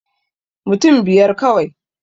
Mutun biyar kawai